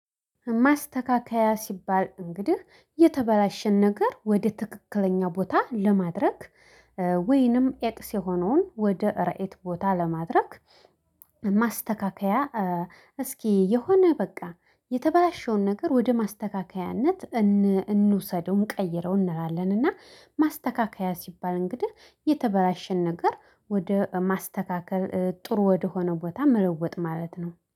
ማስተካከያ ሲባል እንግዲህ የተበላሸን ነገር ወደ ትክክለኛው ቦታ ለማድረግ ወይንም ኤክስ የሆነውን ወደ ራይት ቦታ ለማድረግ ማስተካከያ። እስኪ የሆነ በቃ የተባለሽውን ነገር ወደ ማስተካከያነት እን እንውሰደው እንቀይረው እንላለን። እና ማስተካከያ ሲባል እንግዲህ የተበላሸን ነገር ወደ ማስተካከል ጥሩ ወደሆነው ቦታ መለወጥ ማለት ነው